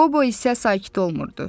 Qobo isə sakit olmurdu.